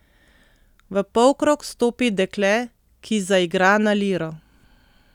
V polkrog stopi dekle, ki zaigra na liro.